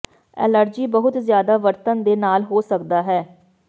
allergy ਬਹੁਤ ਜ਼ਿਆਦਾ ਵਰਤਣ ਦੇ ਨਾਲ ਹੋ ਸਕਦਾ ਹੈ